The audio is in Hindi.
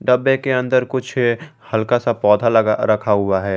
डब्बे के अंदर कुछ हल्का सा पौधा ल रखा हुआ है।